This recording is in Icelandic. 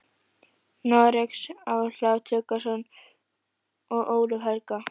Noregs, Ólaf Tryggvason og Ólaf helga.